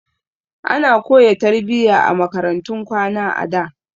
Ana koyan tarbiyya a makarantun kwana a da.